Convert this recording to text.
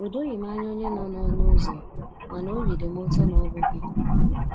O doghị m anya onye nọ n'ụzọ, mana óbị dị m ụtọ na ọ bụ gị.